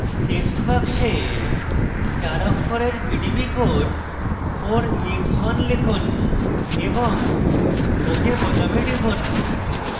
text box চার অক্ষরের pdb code 4ex1 লিখুন এবং ok বোতামে টিপুন